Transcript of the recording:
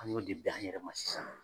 An y'o de bɛn an yɛrɛma sisan